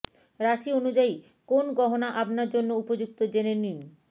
রাশি অনুযায়ী কোন গহনা আপনার জন্য উপযুক্ত জেনে নিন